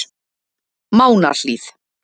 Mánahlíð